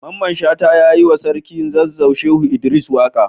Mamman shata ya yi wa sarkin zazzau Shehu Idris waka.